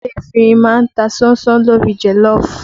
Ewé efinrin má ń ta ṣánṣán lórí joloofu